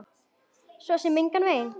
Svo sem engan veginn